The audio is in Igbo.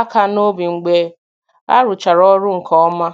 aka n'obi mgbe a rụchara ọrụ nke ọma